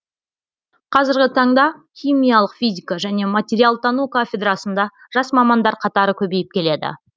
қазіргі таңда химиялық физика және материалтану кафедрасында жас мамандар қатары көбейіп келеді